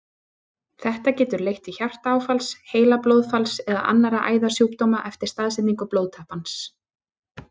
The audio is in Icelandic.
Þetta getur leitt til hjartaáfalls, heilablóðfalls eða annarra æðasjúkdóma eftir staðsetningu blóðtappans.